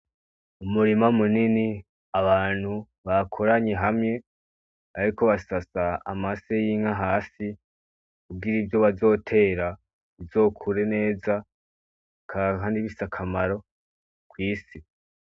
Umurima munini, abantu bakoranye hamye, bariko basasa amase y'inka hasi kugira ivyo bazotera bizokure neza bakaronka n'ibifise akamaro kw'isi.